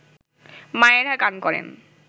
মায়েরা গান করেন